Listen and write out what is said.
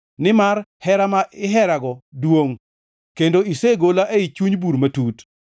Nimar hera ma iherago duongʼ, kendo isegola ei chuny bur matut.